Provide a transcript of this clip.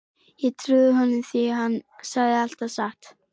Og ég trúði honum því hann sagði alltaf satt.